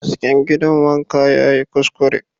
Hasken gidan wanka yayi kuskure